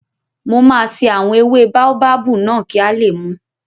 Mo máa ṣe àwọn ewé báóbábù náà kí a lè mùú